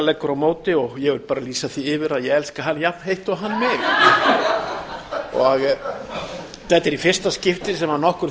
leggur á móti og ég vil bara lýsa því yfir að ég elska hann jafn heitt og hann mig þetta er í fyrsta skipti sem nokkur